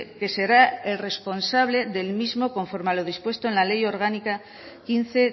que será el responsable del mismo conforme a lo dispuesto en la ley orgánica quince